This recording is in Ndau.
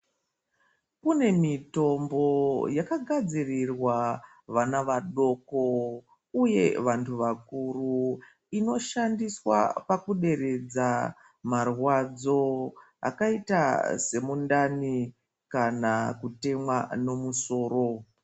Kune mitombo yakagadzirirwa vana vadoko uye vantu vakuru inoshandiswa pakuderedza marwadzo akaita semundani kana kutemwa nemusoro.